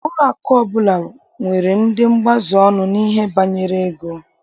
Ụlọakụ ọbụla nwere ndị mgbaziọnụ n'ihe banyere ego.